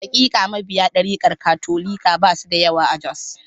Hakika, mabiya darikar Katolika ba su da yawa a Jos.